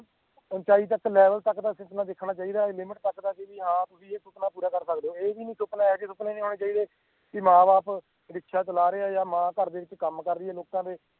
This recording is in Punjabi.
ਊੰਚਾਈ ਤੱਕ level ਤੱਕ ਦਾ ਸੁਪਨਾ ਦੇਖਣਾ ਚਾਹੀਦਾ ਆ limit ਤੱਕ ਦਾ ਬਈ ਹਾਂ ਤੁਸੀਂ ਇਹ ਸੁਪਨਾ ਪੂਰਾ ਕਰ ਸਕਦੇ ਓਂ ਇਹ ਵੀ ਨੀ ਸੁਪਨਾ ਇਹੋ ਜਿਹੇ ਸੁਪਨੇ ਨੀ ਆਉਣੇ ਚਾਹੀਦੇ ਕਿ ਮਾਂ ਬਾਪ ਰਿਕਸ਼ਾ ਚਲਾ ਰਹੇ ਆ ਜਾਂ ਮਾਂ ਘਰ ਦੇ ਵਿਚ ਕੰਮ ਕਰ ਰਹੀ ਆ ਲੋਕਾਂ ਦੇ